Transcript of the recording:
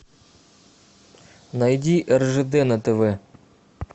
найди ржд на тв